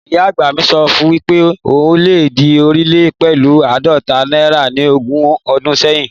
Ìyá àgbà mi sọ wípé o lè di onílé pẹ̀lú áàdóta náírà ni ogún odún sẹ́hìn